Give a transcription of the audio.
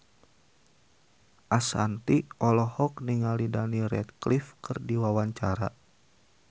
Ashanti olohok ningali Daniel Radcliffe keur diwawancara